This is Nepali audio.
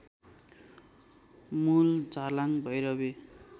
मूल झार्लाङ भैरवि